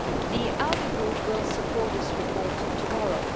The ALDE Group will support this report tomorrow.